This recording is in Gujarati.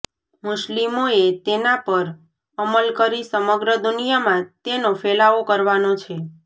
મુસ્લિમોએ તેના પર અમલ કરી સમગ્ર દુનિયામાં તેનો ફેલાવો કરવાનો છે